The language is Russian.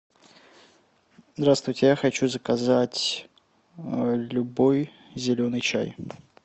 здравствуйте я хочу заказать любой зеленый чай